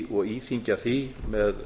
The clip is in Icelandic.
og íþyngja því með